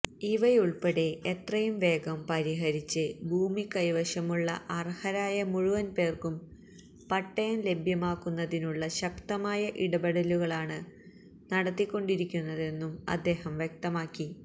ഇവയുൾപ്പെടെ എത്രയും വേഗം പരിഹരിച്ച് ഭൂമികൈവശമുള്ള അർഹരായ മുഴുവൻ പേർക്കും പട്ടയം ലഭ്യമാക്കുന്നതിനുള്ള ശക്തമായ ഇടപെടലുകളാണ് നടത്തിക്കൊണ്ടിരിക്കുന്നതെന്നും അദ്ദേഹം വ്യക്തമാക്കി